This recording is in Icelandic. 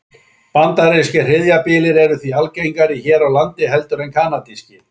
Bandarískir hríðarbyljir eru því algengari hér á landi heldur en kanadískir.